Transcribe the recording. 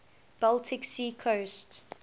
baltic sea coast